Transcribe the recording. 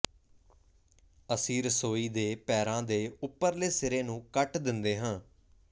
ਅਸੀਂ ਰਸੋਈ ਦੇ ਪੈਰਾਂ ਦੇ ਉੱਪਰਲੇ ਸਿਰੇ ਨੂੰ ਕੱਟ ਦਿੰਦੇ ਹਾਂ